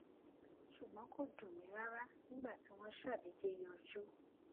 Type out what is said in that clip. ṣùgbón kò dùn mí rárá nígbà tí wón ṣàdédé yọjú